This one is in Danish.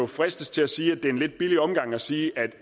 fristes til at sige at det er en lidt billig omgang at sige